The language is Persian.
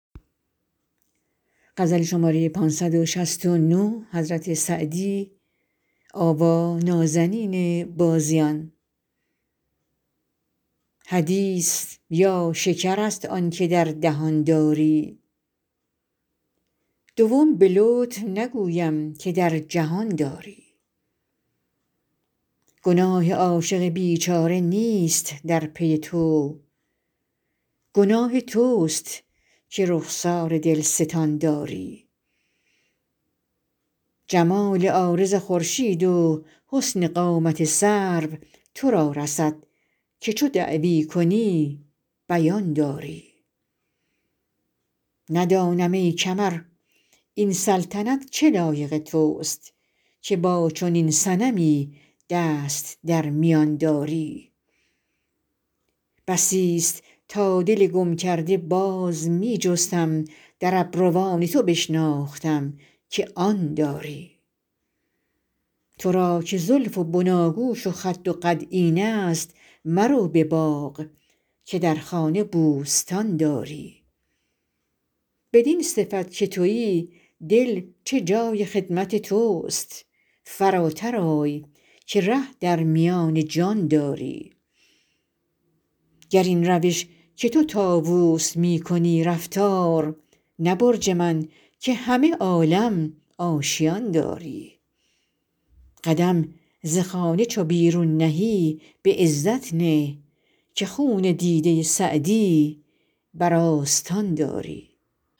حدیث یا شکر است آن که در دهان داری دوم به لطف نگویم که در جهان داری گناه عاشق بیچاره نیست در پی تو گناه توست که رخسار دلستان داری جمال عارض خورشید و حسن قامت سرو تو را رسد که چو دعوی کنی بیان داری ندانم ای کمر این سلطنت چه لایق توست که با چنین صنمی دست در میان داری بسیست تا دل گم کرده باز می جستم در ابروان تو بشناختم که آن داری تو را که زلف و بناگوش و خد و قد اینست مرو به باغ که در خانه بوستان داری بدین صفت که تویی دل چه جای خدمت توست فراتر آی که ره در میان جان داری گر این روش که تو طاووس می کنی رفتار نه برج من که همه عالم آشیان داری قدم ز خانه چو بیرون نهی به عزت نه که خون دیده سعدی بر آستان داری